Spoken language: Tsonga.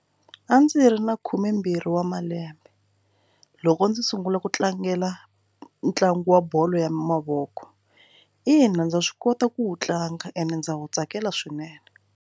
A ndzi ri na khumembirhi wa malembe loko ndzi sungula ku tlangela ntlangu wa bolo ya mavoko ina ndza swi kota ku wu tlanga and ndza wu tsakela swinene.